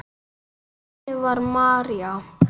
Þannig var María.